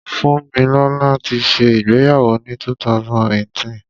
Fúnmilọ́là ti ṣẹ ìgbéyàwó ni 2018.